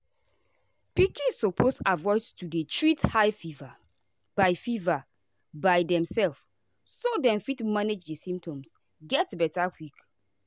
pikin suppose avoid to dey treat high fever by fever by demself so dem fit manage di symptoms get beta quick.